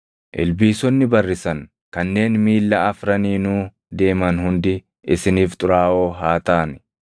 “ ‘Ilbiisonni barrisan kanneen miilla afraniinuu deeman hundi isiniif xuraaʼoo haa taʼani.